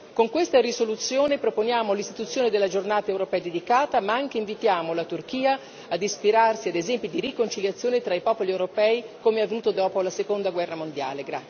Con questa risoluzione proponiamo l'istituzione della giornata europea dedicata, ma anche invitiamo la Turchia a ispirarsi ad esempi di riconciliazione tra i popoli europei come avvenuto dopo la seconda guerra mondiale.